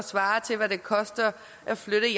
svarer til hvad det koster at flytte